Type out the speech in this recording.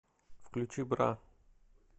включи бра